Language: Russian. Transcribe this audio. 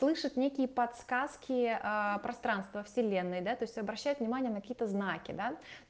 слышит некие подсказки пространство вселенной да то есть обращает внимание на какие то знаки да